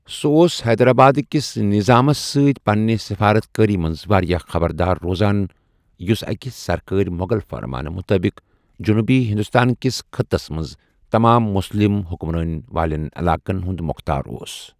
سُہ اوس حیدرآبادٕکس نظامس سۭتۍ پنِنہِ سِفارت کٲری منٛز واریٛاہ خبردار روزان ، یُس أکِہِ سرکٲرِ مُغل فرمانہٕ مُطٲبِق جنوٗبی ہندوستان كِس خٕطس منٛز تمام مُسلم حُکُمرٲنی والین علاقن ہُنٛد موختار اوس ۔